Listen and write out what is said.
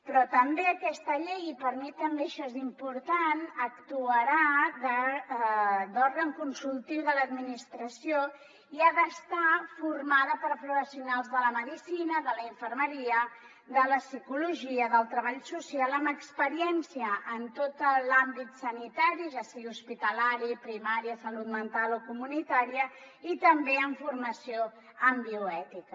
però també aquesta llei i per mi també això és important actuarà d’òrgan consultiu de l’administració i ha d’estar formada per professionals de la medicina de la infermeria de la psicologia del treball social amb experiència en tot l’àmbit sanitari ja sigui hospitalari primària salut mental o comunitària i també amb formació en bioètica